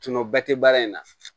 Tuma bɛɛ tɛ baara in na